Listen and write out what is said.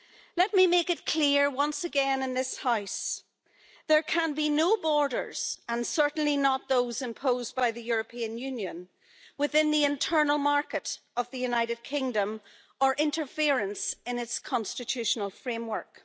Let me make it clear once again in this House there can be no borders and certainly not those imposed by the European Union within the internal market of the United Kingdom, or interference in its constitutional framework.